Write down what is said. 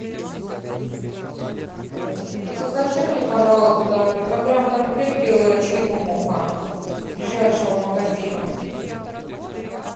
закажи мне пожалуйста килограмм конфет белая черемуха из ближайшего магазина